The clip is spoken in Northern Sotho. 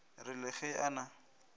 re le ge a na